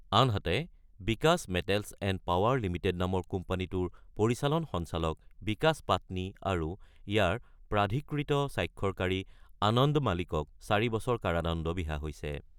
আনহাতে, Bikash metals and power limited নামৰ কোম্পানীটোৰ পৰিচালন সঞ্চালক বিকাশ পাটনি আৰু ইয়াৰ প্ৰাধিকৃত স্বাক্ষৰকাৰী আনন্দ মালিকক ৪ বছৰ কাৰাদণ্ড বিহা হৈছে।